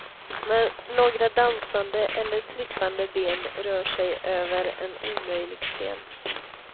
Några dansande eller trippande ben rör sig över en omöjlig scen.